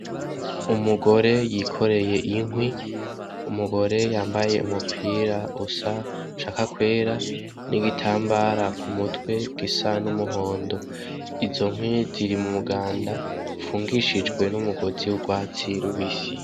Umugore yikoreye inkwi , umugore yambaye umupira usa ushaka kwera n'igitambara k'umutwe gisa n'umuhondo . Izo nkwi ziri mu muganda upfungishijwe n'umugozi w'urwatsi rubisi.